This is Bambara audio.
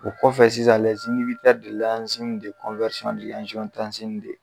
O kɔfɛ sisan